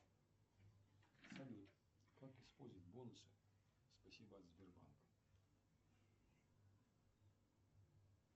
салют как использовать бонусы спасибо от сбербанка